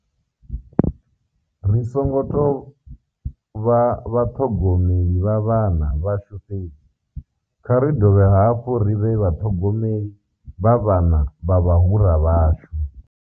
Ri songo tou vha vhaṱhogomeli vha vhana vhashu fhedzi, kha ri dovhe hafhu ri vhe vhaṱhogomeli vha vhana vha vhahura vhashu.